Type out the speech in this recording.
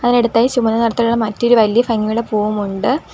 അതിന്റെടുത്തായി ചുവന്ന നിറത്തിലുള്ള മറ്റൊരു വലിയ ഫംഗിയുള്ള പൂവും ഉണ്ട്.